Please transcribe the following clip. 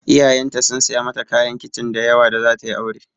Iyayenta sun saya mata kayan kicin da yawa da zata yi aure.